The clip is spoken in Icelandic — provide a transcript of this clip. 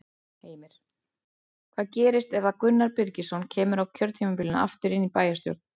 Heimir: Hvað gerist ef að Gunnar Birgisson kemur á kjörtímabilinu aftur inn í bæjarstjórn?